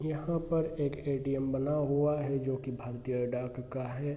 यहाँ पर एक ए.टी.एम. बना हुआ है जोकि भारतीय डाक का है।